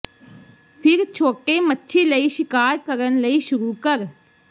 ਫਿਰ ਛੋਟੇ ਮੱਛੀ ਲਈ ਸ਼ਿਕਾਰ ਕਰਨ ਲਈ ਸ਼ੁਰੂ ਕਰ